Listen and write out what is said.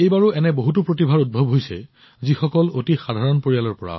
এইবাৰো এনে বহুতো প্ৰতিভাৰ উদ্ভৱ হৈছে যিসকল অতি সাধাৰণ পৰিয়ালৰ